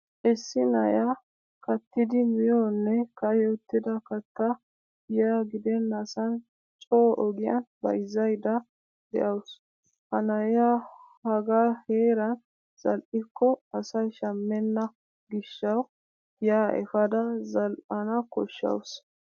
Issi na'iya kattidi miyoonne ka'i uttida kattaa giya gidennasan coo ogiyan bayzzaydda de'awusu. Ha na'iyaa hagaa heeran zal'ikoo asay shammenna gishshawu giyaa efeda zal"an koshshawusu.